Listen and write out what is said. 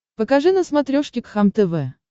покажи на смотрешке кхлм тв